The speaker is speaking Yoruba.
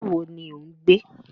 Ìlú wo ni ò ń gbé?